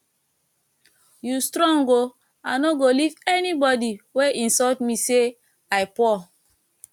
you strong oo i no go leave anybody wey insult me say i poor